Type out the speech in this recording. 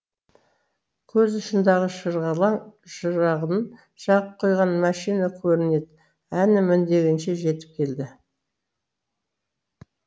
көз ұшындағы шырғалаң шырағын жағып қойған машина көрінеді әні міні дегенше жетіп келді